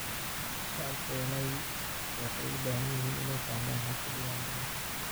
Shacabku waxay u baahan yihiin inay fahmaan habka diiwaangelinta.